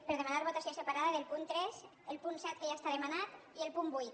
per demanar votació separada del punt tres el punt set que ja està demanat i el punt vuit